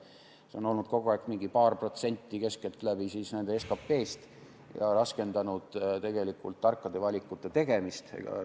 See on olnud kogu aeg keskeltläbi paar protsenti nende SKP-st ja see on raskendanud tarkade valikute tegemist.